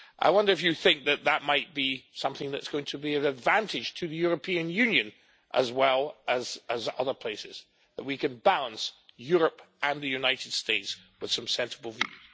I wonder if you think that might be something that is going to be an advantage to the European Union, as well as other places that we can bounce Europe and the United States with some sensible views?